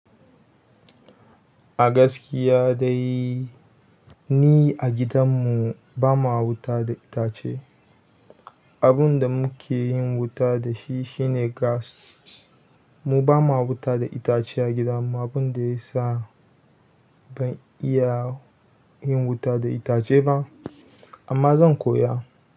A gaskiya dai ni a gidanmu ba ma wuta da itace. Abin da muke yin wuta da shi shine gas. Mu ba ma wuta da itace a gidanmu abin da ya sa ban iya yin wuta da itace ba amma zan koya.